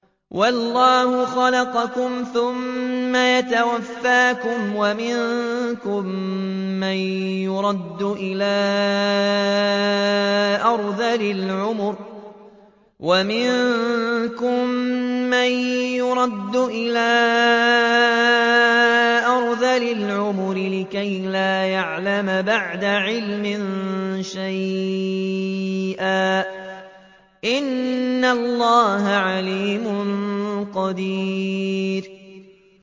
وَاللَّهُ خَلَقَكُمْ ثُمَّ يَتَوَفَّاكُمْ ۚ وَمِنكُم مَّن يُرَدُّ إِلَىٰ أَرْذَلِ الْعُمُرِ لِكَيْ لَا يَعْلَمَ بَعْدَ عِلْمٍ شَيْئًا ۚ إِنَّ اللَّهَ عَلِيمٌ قَدِيرٌ